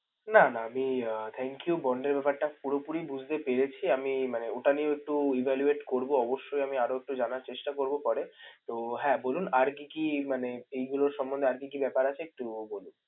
না, না আমি আহ thank you bond এর ব্যাপারটা পুরোপুরি বুঝতে পেরেছি। আমি মানে ওটা নিয়েও একটু evaluate করবো অবশ্যই আমি আরও একটু জানার চেষ্টা করবো পরে। তো, হ্যাঁ! বলুন আর কি কি মানে এইগুলো সম্বন্ধে আর কি কি ব্যাপার আছে? একটু বলুন।